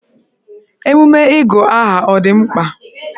Emume ịgụ aha ọ dị mkpa?